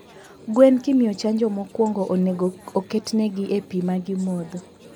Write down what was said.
gwen kimiyo chanjo mowongo onego oketnegi e pii magimadho